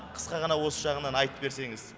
қысқа ғана осы жағынан айтып берсеңіз